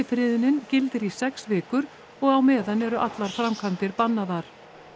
skyndifriðunin gildir í sex vikur og á meðan eru allar framkvæmdir bannaðar